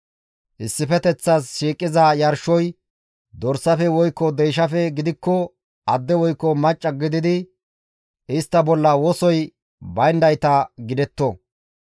«Issifeteththas shiiqiza yarshoy dorsafe woykko deyshafe gidikko adde woykko macca gididi istta bolla wosoy bayndayta gidetto.